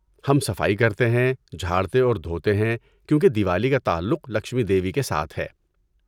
ہم صفائی کرتے ہیں، جھاڑتے اور دھوتے ہیں کیونکہ دیوالی کا تعلق لکشمی دیوی کے ساتھ ہے۔